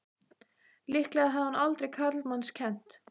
Líklega hafði hún aldrei karlmanns kennt!